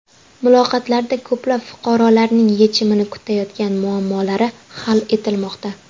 Muloqotlarda ko‘plab fuqarolarning yechimini kutayotgan muammolari hal etilmoqda.